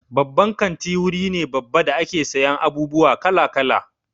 Babban kanti wuri ne babba da ake sayan abubuwa kala-kala.